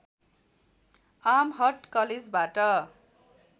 Amherst कलेजबाट